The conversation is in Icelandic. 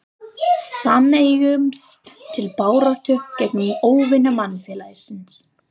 Sameinumst til baráttu gegn óvinum mannfélagsins.